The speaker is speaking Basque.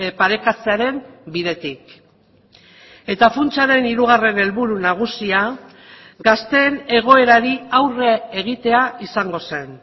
parekatzearen bidetik eta funtsaren hirugarren helburu nagusia gazteen egoerari aurre egitea izango zen